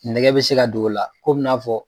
Nɛgɛ bɛ se ka do o la kom'i na fɔ.